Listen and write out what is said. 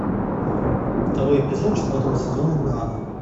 второй эпизод четвертого сезона нано